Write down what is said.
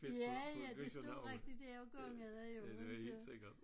Ja ja det stod rigtig der og gyngede jo inte